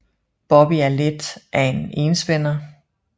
Bobby er lidt af en enspænder